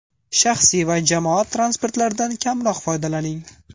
Shaxsiy va jamoat transportlaridan kamroq foydalaning.